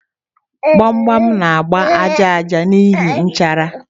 Gbam gbam na-agba aja aja n'ihi nchara.